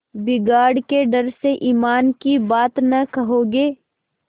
बिगाड़ के डर से ईमान की बात न कहोगे